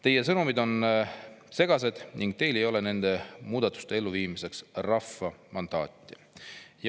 Teie sõnumid on segased ning teil ei ole nende muudatuste elluviimiseks rahva mandaati.